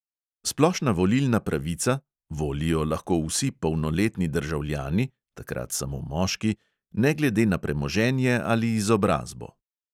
Splošna volilna pravica – volijo lahko vsi polnoletni državljani (takrat samo moški), ne glede na premoženje ali izobrazbo.